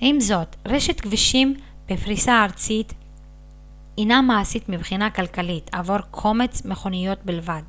עם זאת רשת כבישים בפריסה ארצית אינה מעשית מבחינה כלכלית עבור קומץ מכוניות בלבד